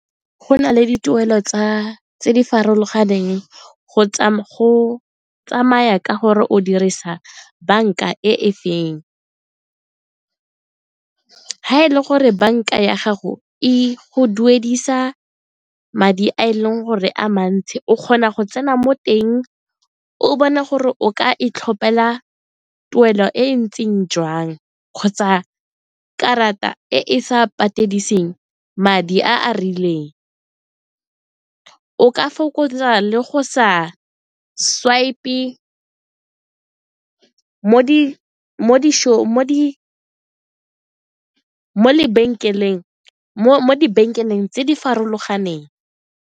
Go na le dituelo tse di farologaneng go tsa go tsamaya ka gore o dirisa banka e feng. Ga e le gore banka ya gago e go duedisa madi a e leng gore a mantsi o kgona go tsena mo teng, o bone gore o ka itlhopela tuelo e e ntseng jang kgotsa karata e e sa patediseng madi a a rileng, o ka fokotsa le go sa swipe-e mo lebenkeleng tse di farologaneng.